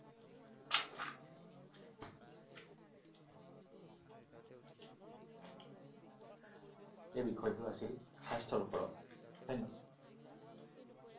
এই বিষয়টো আছিল স্বাস্থ্যৰ ওপৰত।